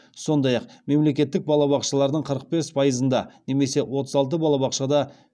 сондай ақ мемлекеттік балабақшалардың қырық бес пайызында немесе отыз алты балабақшада